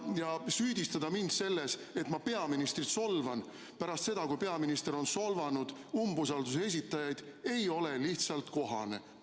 Ja süüdistada mind selles, et ma peaministrit solvan, pärast seda kui peaminister on solvanud umbusalduse esitajaid, ei ole lihtsalt kohane.